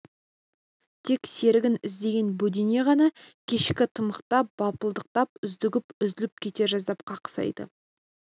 тек серігін іздеген бөдене ғана кешкі тымықта бытпылдықтап үздігіп үзіліп кете жаздап қақсайды